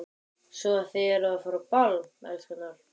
Svo að þið eruð að fara á ball, elskurnar?